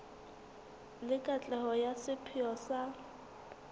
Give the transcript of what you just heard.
le katleho ya sepheo sa